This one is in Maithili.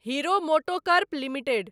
hero MotoCorp limited